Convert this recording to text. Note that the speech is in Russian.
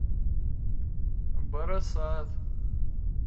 барасат